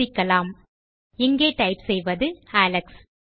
சோதிக்கலாம் இங்கே டைப் செய்வது அலெக்ஸ்